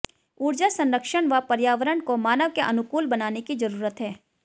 ऊर्जा संरक्षण व पर्यावरण को मानव के अनुकूल बनाने की जरूरत है